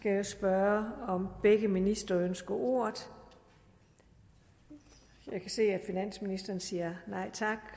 jeg spørge om begge ministre ønsker ordet jeg kan se at finansministeren siger nej tak